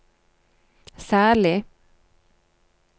særlig